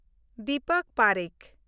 Dipak Parekh